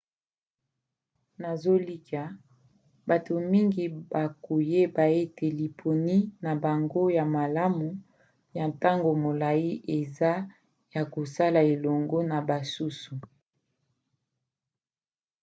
nazolikia bato mingi bakoyeba ete liponi na bango ya malamu ya ntango molai eza ya kosala elongo na basusu